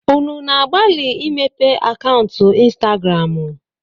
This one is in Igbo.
Unu na-agbalị imepe akaụntụ Ịnstagramụ?